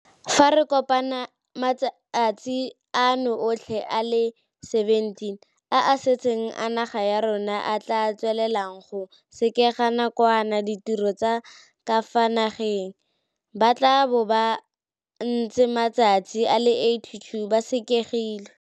Fa re kopanya matsatsi ano otlhe le a le 17 a a setseng a naga ya rona e tla tswelelang go sekega nakwana ditiro tsa ka fa nageng, ba tla bo ba ntse matsatsi a le 82 ba sekegilwe.